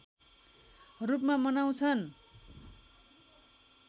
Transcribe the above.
रूपमा मनाउँछन्